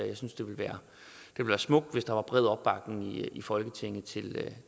jeg synes det ville være smukt hvis der var bred opbakning i folketinget